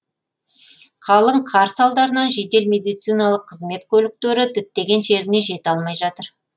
қалың қар салдарынан жедел медициналық қызмет көліктері діттеген жеріне жете алмай жатыр